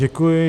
Děkuji.